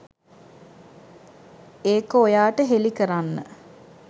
ඒක ඔයාට හෙළි කරන්න.